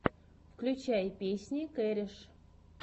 включай песни кереш